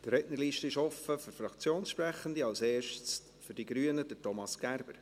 Die Rednerliste ist offen für Fraktionssprechende, als erster für die Grünen, Thomas Gerber.